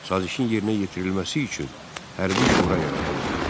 Sazişin yerinə yetirilməsi üçün hərbi şura yaradıldı.